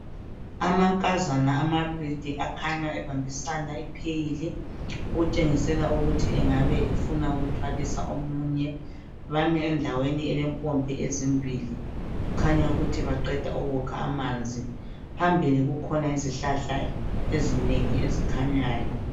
Amankazana amabili akhanya ebambisana ipheyili okutshengisela ukuthi engaba efuna ukuthwalisa omunye bame endaweni elempompi ezimbili kukhanya ukuthi baqeda ukukha amanzi phambili kukhona izihlahla ezinengi ezikhanyayo